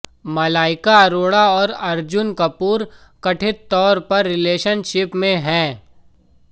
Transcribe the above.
मलाइका अरोड़ा और अर्जुन कपूर कथित तौर पर रिलेशनशिप में हैं